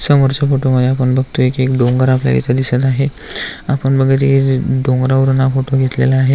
समोरच्या फोटो मध्ये आपण बघतोय की एक डोंगर आपल्याला इथ दिसतोय आहे आपण बघत आहे डोंगरवरून फोटो घेतलेला आहे.